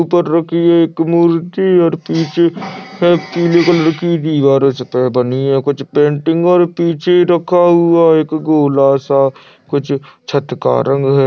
ऊपर एक मूर्ति और पीछे है पिले रंग की दिवार उस पर बनी है कुछ पेंटिंग और पीछे रखा हुआ एक गोला सा कुछ छत का रंग हैं।